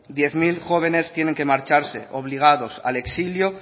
diez mil jóvenes tienen que marcharse obligados al exilio